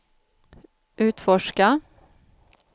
utforska